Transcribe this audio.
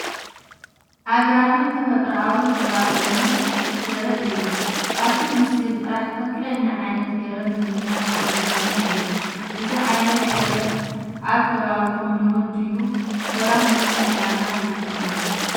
ኣግራብን ተፈጥሮኣዊ ከባቢኦምን ዘርኢ እዩ። ካብቲ ምስሊ ጥራይ ትኽክለኛ ዓይነት ገረብ ንምፍላጥ ኣጸጋሚ እዩ። እዚ ዓይነት ገረብ ኣብ ከባቢኹም ልሙድ ድዩ? ሰባት ንምንታይ ዕላማ ይጥቀሙሉ?